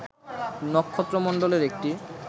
নক্ষত্রমন্ডলের একটি